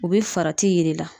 O be farati yir'i la